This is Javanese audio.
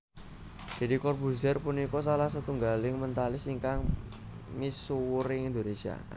Deddy Corbuzier punika salah setunggaling Mentalis ingkang misuwur ing Indonesia